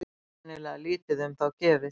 Greinilega lítið um þá gefið.